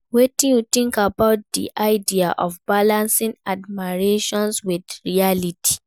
Wetin you think about di idea of balancing admiration with reality?